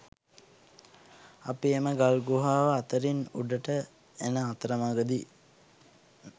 අපි එම ගල් ගුහාව අතරින් උඩට එන අතරමගදි